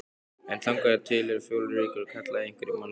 En þangað til eru fjórar vikur, kallaði einhver í mannþrönginni.